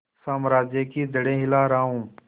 साम्राज्य की जड़ें हिला रहा हूं